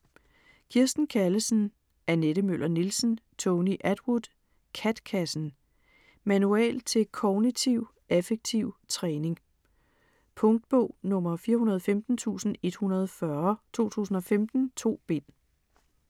Kirsten Callesen, Annette Møller Nielsen, Tony Attwood: KAT-kassen Manual til Kognitiv Affektiv Træning. Punktbog 415140 2015. 2 bind.